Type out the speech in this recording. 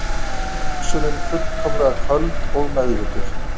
Hugsunin fullkomlega köld og meðvituð.